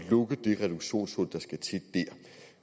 at lukke det reduktionshul